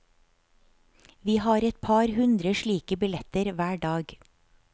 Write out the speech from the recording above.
Vi har et par hundre slik billetter hver dag.